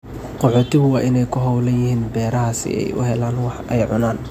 Qaxootigu waa inay ku hawlan yihiin beeraha si ay u helaan wax ay cunaan.